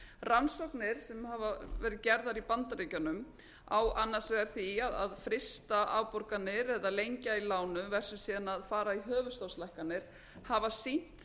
rannsóknir sem hafa verið gerðar í bandaríkjunum á annars vegar því að frysta afborganir eða lengja í lánum versus síðan að fara í höfuðstólslækkanir hafa sýnt